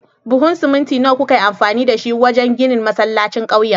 Buhun siminti nawa kuka yi amfani da shi wajen ginin masallacin ƙauyen?